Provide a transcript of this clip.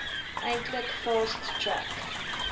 eintlik fast track